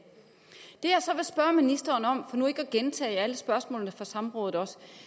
jeg så vil spørge ministeren om for nu ikke at gentage alle spørgsmålene fra samrådet